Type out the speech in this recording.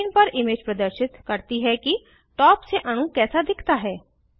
screen पर image प्रदर्शित करती है कि टॉप से अणु कैसा दिखता है